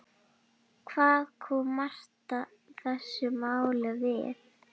Hvað kom Marta þessu máli við?